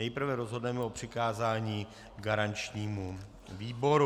Nejprve rozhodneme o přikázání garančnímu výboru.